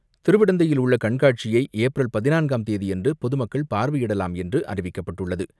திருவிடந்தையில் உள்ள கண்காட்சியை ஏப்ரல் பதினான்காம் தேதியன்று பொதுமக்கள் பார்வையிடலாம் என்று அறிவிக்கப்பட்டுள்ளது.